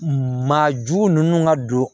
Maajugu ninnu ka don